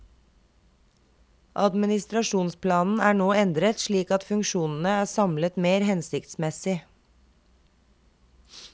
Administrasjonsplanen er nå endret slik at funksjonene er samlet mer hensiktsmessig.